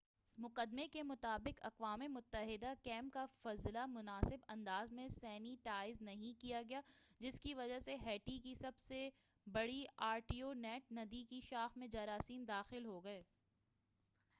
مقدمے کے مطابق اقوام متحدہ کیمپ کا فضلہ مناسب انداز میں سینی ٹائز نہیں کیا گیا جس کی وجہ سے ہیٹی کی سب سے بڑی آرٹیبو نیٹ ندی کی شاخ میں جراثیم داخل ہوگئے